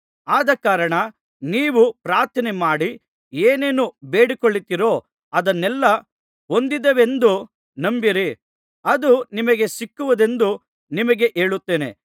ಆದಕಾರಣ ನೀವು ಪ್ರಾರ್ಥನೆಮಾಡಿ ಏನೇನು ಬೇಡಿಕೊಳ್ಳುತ್ತೀರೋ ಅದನ್ನೆಲ್ಲಾ ಹೊಂದಿದ್ದೇವೆಂದು ನಂಬಿರಿ ಅದು ನಿಮಗೆ ಸಿಕ್ಕುವುದೆಂದು ನಿಮಗೆ ಹೇಳುತ್ತೇನೆ